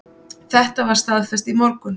Þetta var staðfest í morgun.